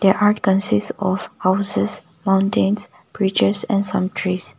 chart consists of houses mountains bridges and some trees.